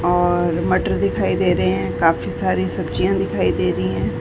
और मटर दिखाई दे रहे हैं। काफ़ी सारी सब्जियां दिखाई दे रही हैं।